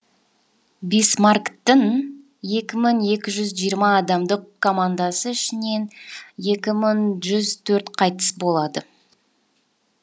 бисмарктін екі мың жиырма адамдық командасы ішінен екі мың жүз төрт қайтыс болады